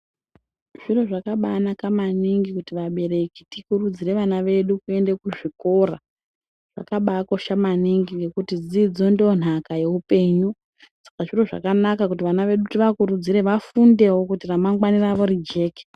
Zviro zvakanaka maningi kuti vabereki tikurudzire Vana vedu vaende kuzvikora zvakabanaka maningi kuti dzidzo Ndonhaka yehupenyu saka zviro zvakanaka kuti Vana vedu tivakurudzire kuti vafundewo kuti ramangwani redu rijeke.